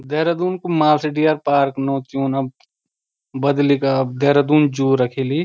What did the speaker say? देहरादून कु Malsi deer park कु नौ ज्यून अब बदली क अब देहरादून जू रखिली।